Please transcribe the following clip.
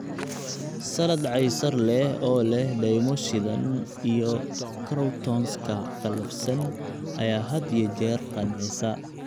Salad Caesar leh oo leh dhaymo shiidan iyo croutons-ka qallafsan ayaa had iyo jeer qancisa.